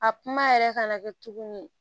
A kuma yɛrɛ ka na kɛ tuguni